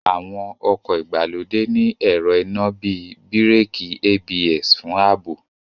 Àwọn ọkọ̀ ìgbàlódé ní ẹ̀rọ iná bíi Bíràkì ABS fún ààbò